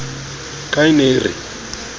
ka e ne e re